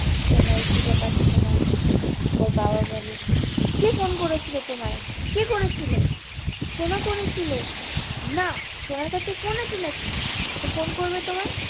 সোনা কে খুঁজে পাচ্ছে না ওর বাবা বলে কে ফোন করেছিল তোমায় কে কে করেছিল? সোনা করেছিল না সোনার কাছে ফোন আছে নাকি সে ফোন করবে তোমায়?